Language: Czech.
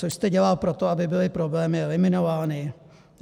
Co jste dělal pro to, aby byly problémy eliminovány?